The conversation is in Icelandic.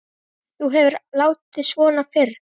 Þú hefur aldrei látið svona fyrr